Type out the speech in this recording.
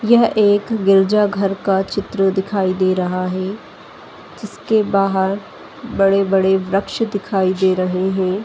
यह एक गिरजा घर का चित्र दिखाई दे रहा है जिसके बाहर बड़े-बड़े बृक्ष दिखाई दे रहे हैं। .